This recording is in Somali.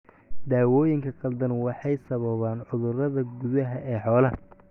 Daawooyinka khaldan waxay sababaan cudurada gudaha ee xoolaha.